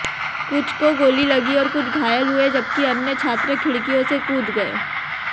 कुछ को गोली लगी और कुछ घायल हुए जबकि अन्य छात्र खिड़कियों से कूद गए